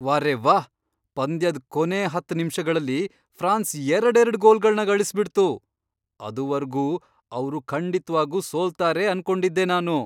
ವಾರೆವ್ಹಾ! ಪಂದ್ಯದ್ ಕೊನೇ ಹತ್ತ್ ನಿಮ್ಷಗಳಲ್ಲಿ ಫ್ರಾನ್ಸ್ ಎರಡೆರಡ್ ಗೋಲ್ಗಳ್ನ ಗಳಿಸ್ಬಿಡ್ತು! ಅದುವರ್ಗೂ ಅವ್ರು ಖಂಡಿತ್ವಾಗೂ ಸೋಲ್ತಾರೆ ಅನ್ಕೊಂಡಿದ್ದೆ ನಾನು.